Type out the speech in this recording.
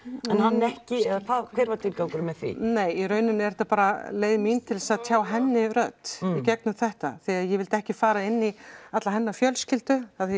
en hann ekki eða hvað hver var tilgangurinn með því nei í rauninni er þetta bara leið mín til að tjá henni rödd í gegnum þetta því að ég vildi ekki fara inn í alla hennar fjölskyldu af því